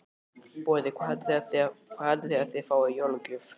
Boði: Hvað haldið þið að þið fáið í jólagjöf?